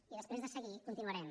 i després de seguir continuarem